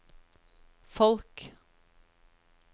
folk